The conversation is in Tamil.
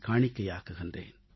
காணிக்கையாக்குகிறேன்